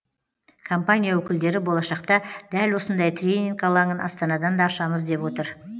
компания өкілдері болашақта дәл осындай тренинг алаңын астанадан да ашамыз деп отыр